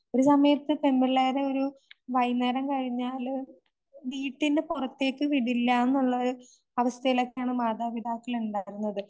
ഒരു സമയത്ത് പെൺപിള്ളേരെ ഒരു വൈന്നേരം കഴിഞ്ഞാല് വീട്ടിന്റെ പുറത്തേക്ക് വിടില്ലാനുള്ളൊരു അവസ്ഥയിലൊക്കെയാണ് മാതാപിതാക്കൾ ഉണ്ടായിരുന്നത്.